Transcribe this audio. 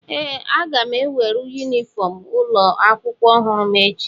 ee, aga m enweru yunifọm ụlọ akwụkwọ ọhụrụ m echi